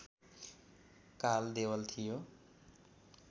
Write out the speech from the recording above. काल देवल थियो